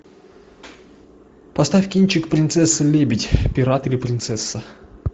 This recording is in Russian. поставь кинчик принцесса лебедь пират или принцесса